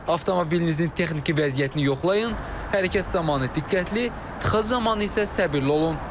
Avtomobilinizin texniki vəziyyətini yoxlayın, hərəkət zamanı diqqətli, tıxac zamanı isə səbirli olun.